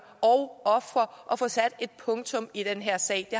og ofre at få sat et punktum i den her sag det